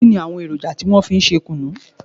Kínni àwọn èròjà tí wọn fi ń ṣe kùnú?